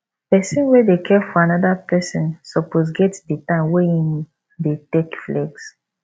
person wey dey care for anoda person suppose get di time wey im dey take flex